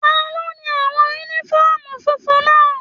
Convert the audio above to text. Taló ni àwọn yúnífọ̀ọ́mù fúnfún náà?